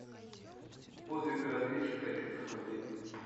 подвиг разведчика хочу посмотреть